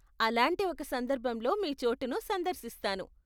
అలాంటి ఒక సందర్భంలో మీ చోటుని సందర్శిస్తాను.